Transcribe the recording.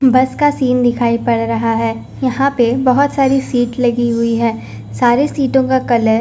बस का सीन दिखाई पड़ रहा है यहां पे बहुत सारी सीट लगी हुई है सारे सीटों का कलर --